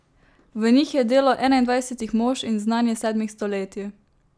V njih je delo enaindvajsetih mož in znanje sedmih stoletij.